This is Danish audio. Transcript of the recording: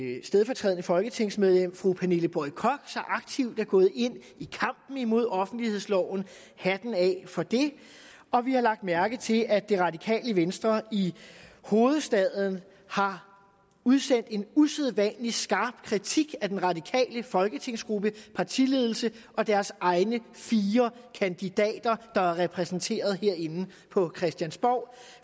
stedfortrædende folketingsmedlem fru pernille boye koch så aktivt er gået ind i kampen imod offentlighedsloven hatten af for det og vi har lagt mærke til at det radikale venstre i hovedstaden har udsendt en usædvanlig skarp kritik af den radikale folketingsgruppe partiledelse og deres egne fire kandidater der er repræsenteret herinde på christiansborg